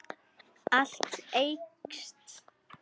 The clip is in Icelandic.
Allt eykst.